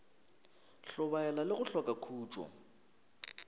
hlobaela le go hloka khutšo